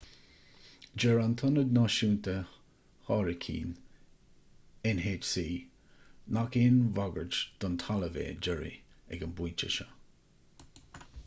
deir an tionad náisiúnta hairicín nhc nach aon bhagairt don talamh é jerry ag an bpointe seo